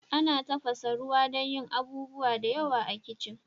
Ana tafasa ruwa dan yin abubuwa da yawa a kitchen.